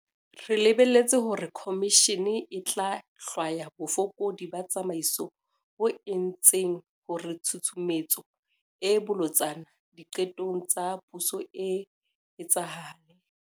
Re lebeletse hore khomishene e tla hlwaya bofokodi ba tsamaiso bo entseng hore tshusumetso e bolotsana diqetong tsa puso e etsahale.